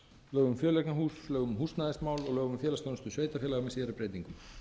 lögum um fjöleignarhús lögum um húsnæðismál og lögum um félagsþjónustu sveitarfélaga með síðari breytingum